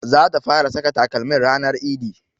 Zata fara saka takalmin ranar idi